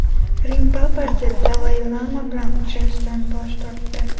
Rim Papasi Dalay Lama bilan uchrashishdan bosh tortdi.